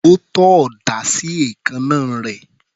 Ó tọ́ ọ̀dà sí èékánná rẹ̀.